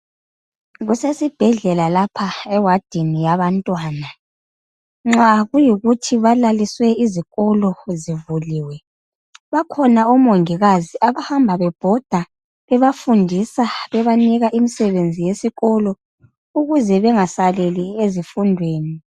Kusesibhedlela la ewadini yabantwana. Nxa kuyikuthi balaliswe izikolo zivuliwe bakhona oMongikazi abahamba bebhoda bebanika imisebenzi yesikolo ukuze bengasaleli ezifundweni.